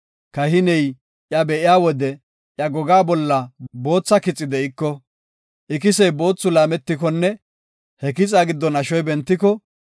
Kahiney iya be7iya wode iya gogaa bolla bootha kixi de7iko, ikisey boothi laammikonne he kixa giddon ashoy bentiko,